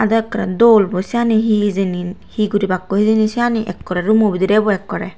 eyot ekkorey dol bo seyani he hejeyni he gurebakkoi hejeyni seyani ekkorey roomo bidirey bo ekkorey.